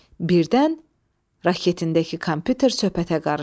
Birdən raketindəki kompyuter söhbətə qarışdı.